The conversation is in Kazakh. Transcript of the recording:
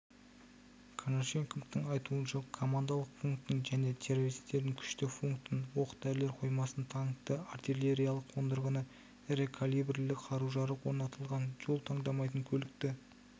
конашенковтың айтуынша командалық пунктін және террористердің күшті пунктін оқ-дәрілер қоймасын танкті артиллериялық қондырғыны ірі калибрлі қару-жарақ орнатылған жол таңдамайтын көлікті